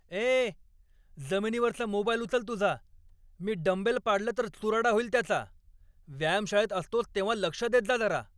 ए, जमिनीवरचा मोबाईल उचल तुझा, मी डंबेल पाडलं तर चुराडा होईल त्याचा, व्यायामशाळेत असतोस तेव्हा लक्ष देत जा जरा.